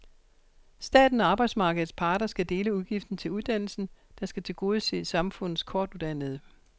Staten og arbejdsmarkedets parter skal dele udgiften til uddannelsen, der skal tilgodese samfundets kortuddannede.